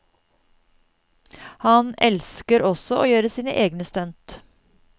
Han elsker også å gjøre sine egne stunt.